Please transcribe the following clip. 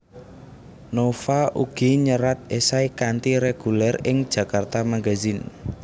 Nova ugi nyerat esai kanthi reguler ing Djakarta Magazine